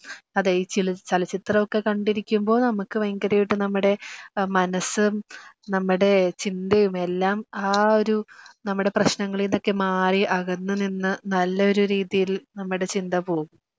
അതെ ഈ ചലച്ചിത്രമൊക്കെ കണ്ടിരിക്കുമ്പോ നമുക്ക് വയങ്കരയിട്ട് നമ്മടെ മനസ്സ് നമ്മടെ ചിന്തയും എല്ലാം ആ ഒരു നമ്മടെ പ്രശ്നങ്ങളീന്നൊക്കെ മാറി അകന്ന് നിന്ന് നല്ല ഒരു രീതിയിൽ നമ്മടെ ചിന്ത പോവും